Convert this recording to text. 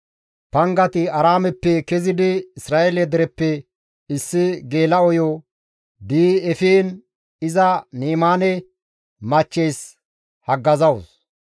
Pangati Aaraameppe kezidi Isra7eele dereppe issi geela7oyo di7i efiin iza Ni7imaassinne machcheys haggazawus.